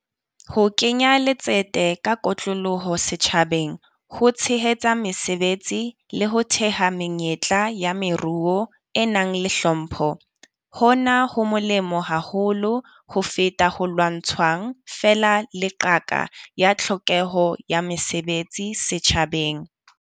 Ho kenya letsete ka kotloloho setjhabeng, ho tshehetsa mesebetsi le ho theha menyetla ya meruo e nang le hlompho. Hona ho molemo haholo ho feta ho lwantshang feela le qaka ya tlhokeho ya mesebetsi setjhabeng.